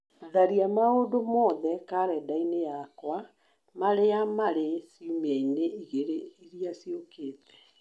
tharia maũndũ mothe karenda-inĩ yakwa marĩa marĩ ciũmia-inĩ igĩrĩ iria ciũkĩte